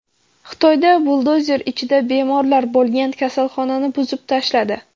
Xitoyda buldozer ichida bemorlar bo‘lgan kasalxonani buzib tashladi.